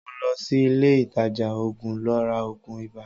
Mo lọ sí ilé ìtajà òògùn lọ ra òògùn ibà.